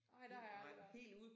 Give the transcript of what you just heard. Nej der har jeg aldrig været